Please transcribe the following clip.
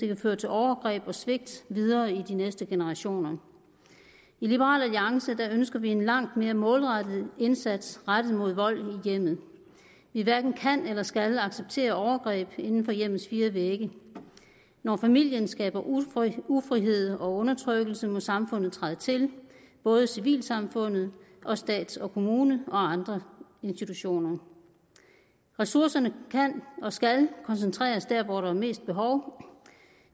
kan føre til overgreb og svigt videre i de næste generationer i liberal alliance ønsker vi en langt mere målrettet indsats rettet mod vold i hjemmet vi hverken kan eller skal acceptere overgreb inden for hjemmets fire vægge når familien skaber ufrihed og undertrykkelse må samfundet træde til både civilsamfundet stat og kommune og andre institutioner ressourcerne kan og skal koncentreres der hvor der er mest behov